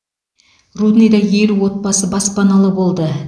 рудныйда елу отбасы баспаналы болды